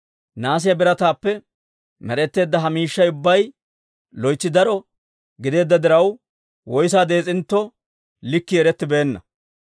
Nahaasiyaa birataappe med'etteedda ha miishshay ubbay loytsi daro gideedda diraw, woyssa dees'intto, likkii erettibeenna.